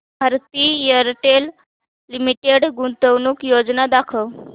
Bharti Airtel limited गुंतवणूक योजना दाखव